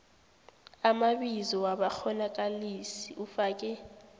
amabizo wabakghonakalisi ufake